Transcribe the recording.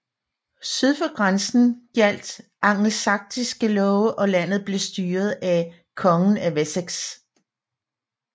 Syd for grænsen gjaldt angelsaksiske love og landet blev styret af kongen af Wessex